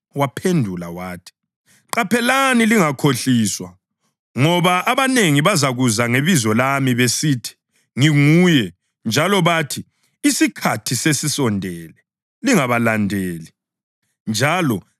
Waphendula wathi, “Qaphelani lingakhohliswa. Ngoba abanengi bazakuza ngebizo lami besithi, ‘Nginguye,’ njalo bathi, ‘Isikhathi sesisondele.’ Lingabalandeli.